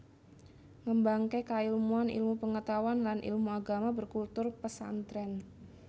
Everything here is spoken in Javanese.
Ngembangké kailmuan ilmu pengetahuan lan ilmu Agama berkultur Pesantrèn